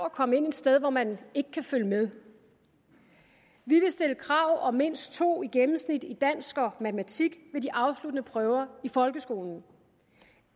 at komme ind et sted hvor man ikke kan følge med vi vil stille krav om mindst to i gennemsnit i dansk og matematik ved de afsluttende prøver i folkeskolen